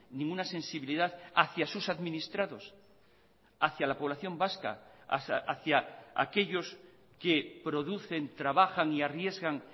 ninguna sensibilidad hacia sus administrados hacia la población vasca hacia aquellos que producen trabajan y arriesgan